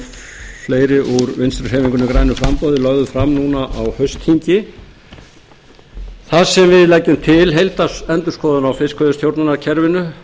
framboði lögðu fram núna á haustþingi þar sem við leggjum til heildarendurskoðun á fiskveiðistjórnarkerfinu